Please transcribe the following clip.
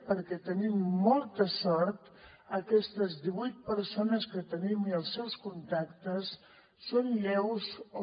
perquè tenim molta sort aquestes divuit persones que tenim i els seus contactes són lleus o